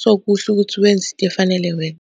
so, kuhle ukuthi wenze into efanele wena.